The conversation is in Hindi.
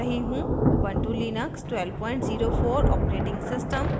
Ubuntu Linux 1204 operating system